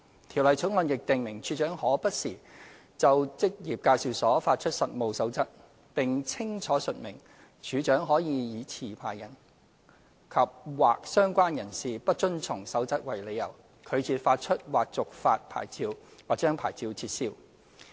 《條例草案》亦訂明處長可不時就職業介紹所發出實務守則，並清楚述明處長可以以持牌人及/或相關人士不遵從守則為理由，拒絕發出或續發牌照，或將牌照撤銷。